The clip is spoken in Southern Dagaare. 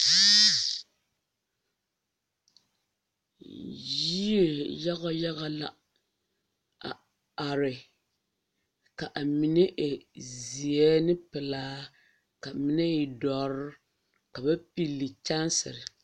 Yie yaga yaga la a are kaine e zeɛne pilaa ka mine e dɔre kana pille kyaŋsi.